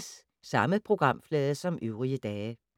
Samme programflade som øvrige dage